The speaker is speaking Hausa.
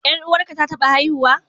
Ƴar uwarka ta taɓa haihuwa?